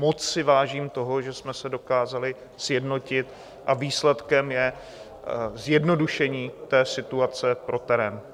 Moc si vážím toho, že jsme se dokázali sjednotit a výsledkem je zjednodušení té situace pro terén.